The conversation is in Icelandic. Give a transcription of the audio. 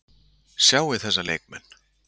Sjáið þessa leikmenn